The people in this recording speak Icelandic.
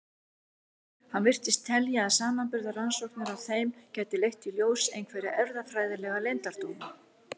Hann virtist telja að samanburðarrannsóknir á þeim gætu leitt í ljós einhverja erfðafræðilega leyndardóma.